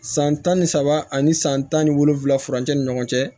San tan ni saba ani san tan ni wolonwula furancɛ ni ɲɔgɔn cɛ